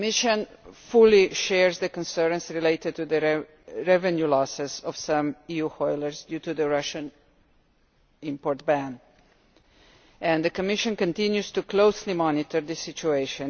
The Commission fully shares the concerns related to the revenue losses of some EU hauliers due to the Russian import ban and the Commission continues to closely monitor this situation.